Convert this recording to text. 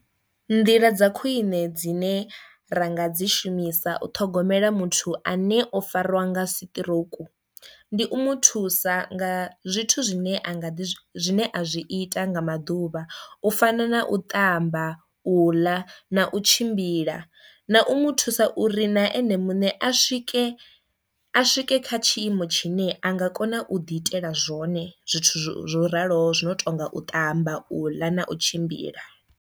Nḓila dza khwiṋe dzine ra nga dzi shumisa u ṱhogomela muthu ane o fariwa nga siṱirouku, ndi u muthusa nga zwithu zwine anga ḓi zwine a zwi ita nga maḓuvha u fana na u ṱamba, u ḽa na u tshimbila, na u mu thusa uri na enemuṋe a swike a swike kha tshiimo tshine a nga kona u ḓi itela zwone zwithu zwo raloho zwi no tonga u ṱamba, u ḽa na u tshimbila.